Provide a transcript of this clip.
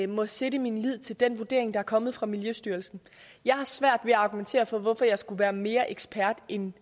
må sætte min lid til den vurdering der er kommet fra miljøstyrelsen jeg har svært ved at argumentere for hvorfor jeg skulle være mere ekspert end